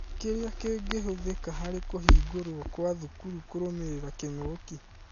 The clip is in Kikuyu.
Kĩrĩa kĩngĩhũthĩka harĩ kũhingũrwo kwa thukuru kũrũmĩrĩra kĩng'ũki ?